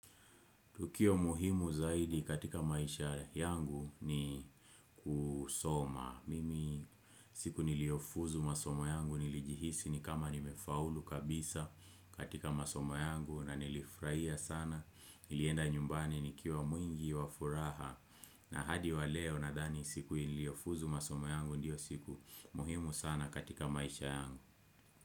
Tukio muhimu zaidi katika maisha yangu ni kusoma. Mimi siku niliofuzu masomo yangu nilijihisi ni kama nimefaulu kabisa katika masomo yangu na nilifurahia sana. Nilienda nyumbani nikiwa mwingi wa furaha. Na hadi wa leo nadhani siku niliofuzu masomo yangu ndio siku muhimu sana katika maisha yangu.